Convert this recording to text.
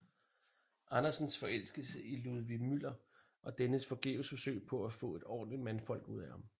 Andersens forelskelse i Ludvig Müller og dennes forgæves forsøg på at få et ordentligt mandfolk ud af ham